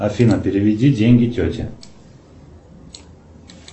афина переведи деньги тете